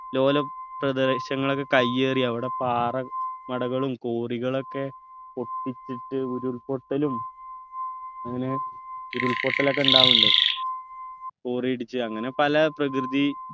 ലോലം പ്രദേശങ്ങളൊക്കെ കയ്യേറി അവിടെ പാറ മടകളും ക്വറികളൊക്കെ പൊട്ടിച്ചിട്ട് ഉരുൾപൊട്ടലും അങ്ങനെ ഉരുൾപൊട്ടലൊക്കെ ഉണ്ടാവുണ്ട് quarry ഇടിച്ച് അങ്ങനെ പല പ്രകൃതി